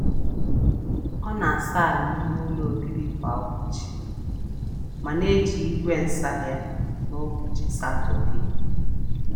Ọ na-asa ala ime ụlọ obibi kwa ụbọchị, ma na-eji igwe nsa ya n’ụbọchị Satọdee.